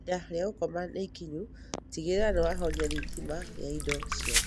Ihinda rĩa gũkoma nĩ ikinyu tigĩrĩra ni wahorĩa thitima ya indo ciothe